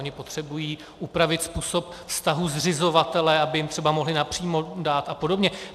Ony potřebují upravit způsob vztahu zřizovatele, aby jim třeba mohly napřímo dát a podobně.